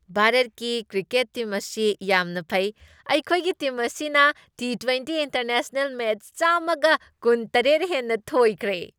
ꯚꯥꯔꯠꯀꯤ cricket team ꯑꯁꯤ ꯌꯥꯝꯅ ꯐꯩ꯫ ꯑꯩꯈꯣꯏꯒꯤ ꯇꯤꯝ ꯑꯁꯤꯅ ꯇꯤ ꯇ꯭ꯋꯦꯟꯇꯤ ꯏꯟꯇꯔꯅꯦꯁꯅꯦꯜ ꯃꯦꯆ ꯆꯥꯝꯃꯒ ꯀꯨꯟꯇꯔꯦꯠ ꯍꯦꯟꯅ ꯊꯣꯏꯈ꯭ꯔꯦ꯫